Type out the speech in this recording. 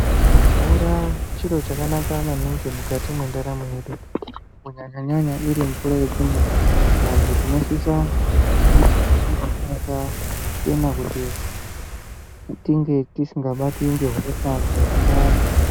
Mvura chiro chakanaka maningi mukati mwendaramo yedu. Kunyanya-nyanya iri mvura yekumwa vantu tinosisa kunge tiimwa mvura yakachena kuti tinge tisinga batwi ngehosha dzemundani.